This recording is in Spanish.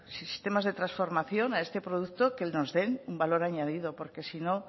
sistemas de transformación a este producto que no de un valor añadido porque si no